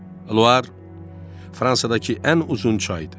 Luar Fransadakı ən uzun çaydır.